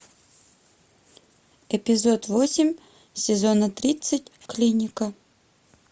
эпизод восемь сезона тридцать клиника